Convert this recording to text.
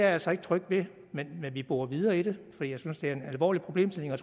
altså ikke tryg ved men vi borer videre i det for jeg synes at det er en alvorlig problemstilling og